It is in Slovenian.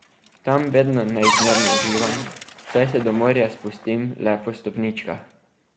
Tam vedno neizmerno uživam, saj se do morja spustim le po stopničkah.